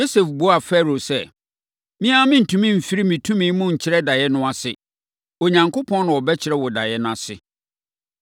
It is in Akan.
Yosef buaa Farao sɛ, “Me ara merentumi mfiri me tumi mu nkyerɛ daeɛ no ase. Onyankopɔn na ɔbɛkyerɛ wo daeɛ no ase.”